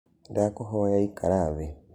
Ndakũhoya ĩkara thĩ.